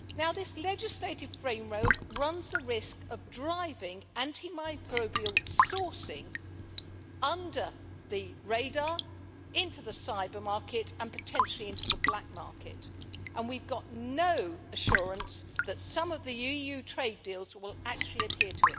This legislative framework runs the risk of driving antimicrobial sourcing under the radar, into the cyber-market and potentially into the black market, and we've got no assurance that some of the EU trade deals will actually adhere